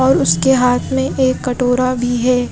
और उसके हाथ में एक कटोरा भी है।